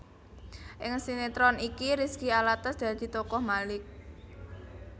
Ing sinetron iki Rizky Alatas dadi tokoh Malik